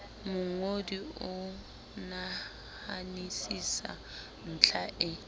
mongodi o nahanisisa ntlha e